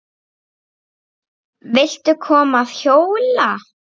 Viltu koma að hjóla?